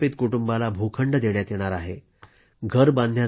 प्रत्येक विस्थापित कुटुंबाला भूखंड देण्यात येणार आहे